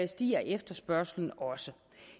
stiger efterspørgslen også